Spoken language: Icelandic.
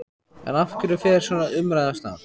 En af hverju fer svona umræða af stað?